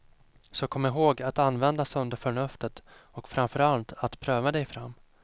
Så kom ihåg att använda sunda förnuftet och framför allt att pröva dig fram.